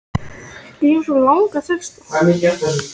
Mér fannst myrkrið úti vera í engu samræmi við ljósið inni.